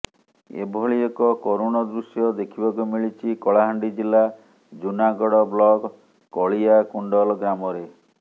ଏଭଳି ଏକ କରୁଣ ଦୃଶ୍ୟ ଦେଖିବାକୁ ମିଳିଛି କଳାହାଣ୍ଡି ଜିଲ୍ଲା ଜୁନାଗଡ଼ ବ୍ଲକ କଳିଆକୁଣ୍ଡଲ ଗ୍ରାମରେ